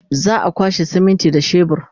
za'a kwashe siminti da shebur